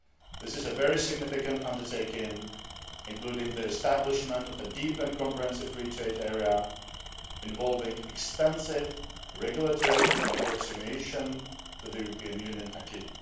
This is a very significant undertaking, including the establishment of a deep and comprehensive free trade area involving extensive regulatory approximation to the European Union acquis